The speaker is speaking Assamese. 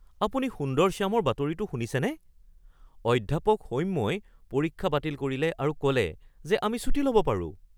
আপুনি সুন্দৰশ্যামৰ বাতৰিটো শুনিছেনে? অধ্যাপক সৌম্যই পৰীক্ষা বাতিল কৰিলে আৰু ক’লে যে আমি ছুটী ল’ব পাৰোঁ!